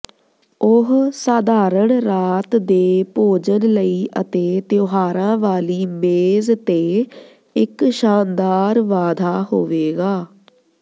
ਉਹ ਸਾਧਾਰਣ ਰਾਤ ਦੇ ਭੋਜਨ ਲਈ ਅਤੇ ਤਿਉਹਾਰਾਂ ਵਾਲੀ ਮੇਜ਼ ਤੇ ਇੱਕ ਸ਼ਾਨਦਾਰ ਵਾਧਾ ਹੋਵੇਗਾ